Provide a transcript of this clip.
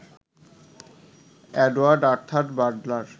Edward Arthur Butler